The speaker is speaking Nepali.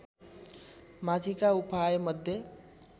माथिका उपायमध्ये